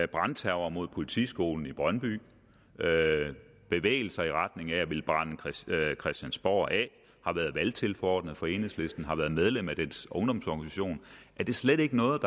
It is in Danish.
brandterror mod politiskolen i brøndby bevægelser i retning af at ville brænde christiansborg af har været valgtilforordnet for enhedslisten og har været medlem af dets ungdomsorganisation er det slet ikke noget